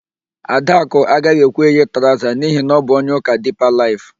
Adakụ agaghị ekwe eyi traụza n'ihi na ọ bụ onye ụka Dipa Laịf.